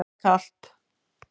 Það var kalt.